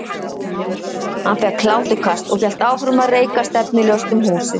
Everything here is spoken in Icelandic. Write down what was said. Hann fékk hláturkast og hélt áfram að reika stefnulaust um húsið.